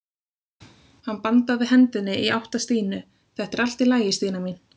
Hann bandaði hendinni í átt að Stínu: Þetta er allt í lagi Stína mín.